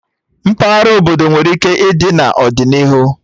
Mpaghara obodo nwere ike ịdị n'ọdịnihu